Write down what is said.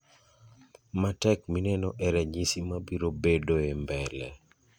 matek mineno e ranyisi mabiro bedoe mbele